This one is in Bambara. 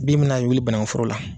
Bin mana wuli banagunforo la